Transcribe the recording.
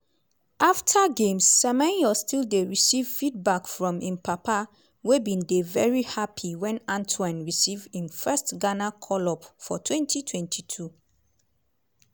afta games semenyo still dey receive feedback from im papa wey bin dey veri happy wen antoine receive im first ghana call-up for 2022.